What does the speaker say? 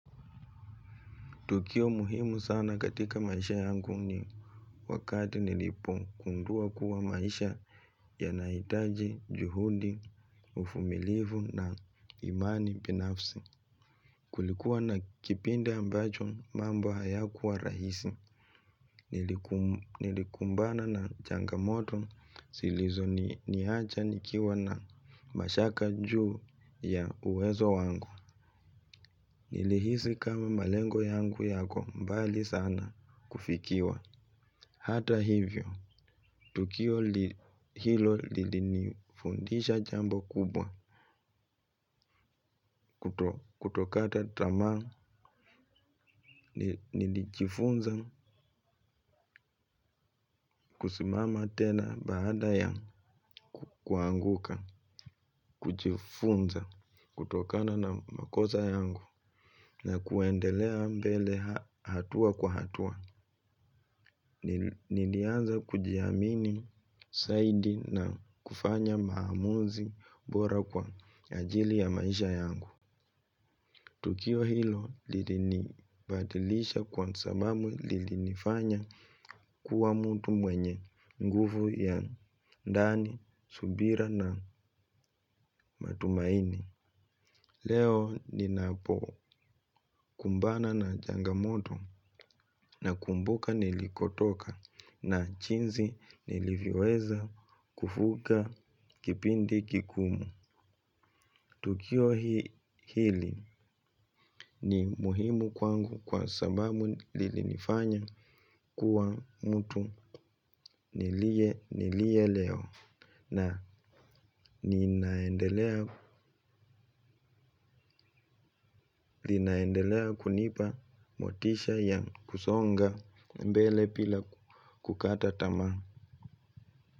Tukio muhimu sana katika maisha yangu ni wakati nilipo gundua kuwa maisha ya nahitaji, juhudi, uvumilivu na imani binafsi. Kulikuwa na kipindi ambacho mambo haya kuwa rahisi. Nilikumbana na changamoto zilizo ni acha nikiwa na mashaka juu ya uwezo wangu. Nilihisi kama malengo yangu yako mbali sana kufikiwa. Hata hivyo, tukio hilo lilifundisha jambo kubwa. Kutokata tamaa, nilijifunza, kusimama tena baada ya kuanguka, kujifunza, kutokana na makosa yangu. Na kuendelea mbele hatua kwa hatua. Nilianza kujiamini zaidi na kufanya maamuzi bora kwa ajili ya maisha yangu. Tukio hilo lilini badilisha kwa sababu lilini fanya kuwa mutu mwenye nguvu ya ndani, subira na matumaini. Leo ninapo kumbana na changamoto na kumbuka nilikotoka na jinzi nilivyoweza kuvuka kipindi kigumu. Tukio hili ni muhimu kwangu kwa sababu lili nifanya kuwa mtu nilie nilie leo na ninaendelea kunipa motisha ya kusonga mbele bila kukata tamaa.